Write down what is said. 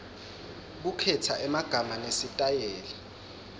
kukhetsa emagama nesitayela